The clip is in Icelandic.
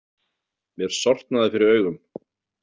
Mér sortnaði fyrir augum.